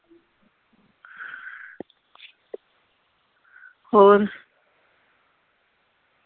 ਹੋਰ